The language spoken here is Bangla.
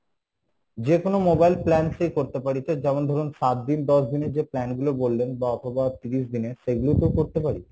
যেকোনো mobile plans এই করতে পারি তো যেমন ধরুন সাতদিন দশ দিনের যে plan গুলো বললেন বা অথবা তিরিশ দিনের সেগুলোতো করতে পারি?